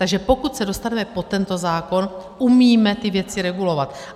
Takže pokud se dostaneme po tento zákon, umíme ty věci regulovat.